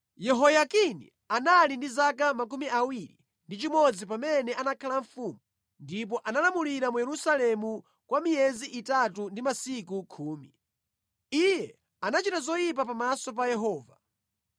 Yehoyakini anali ndi zaka 21 pamene anakhala mfumu ndipo analamulira mu Yerusalemu kwa miyezi itatu ndi masiku khumi. Iye anachita zoyipa pamaso pa Yehova.